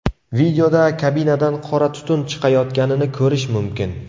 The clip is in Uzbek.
Videoda kabinadan qora tutun chiqayotganini ko‘rish mumkin.